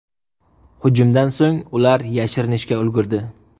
Hujumdan so‘ng ular yashirinishga ulgurdi.